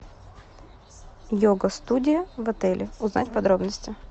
йога студия в отеле узнать подробности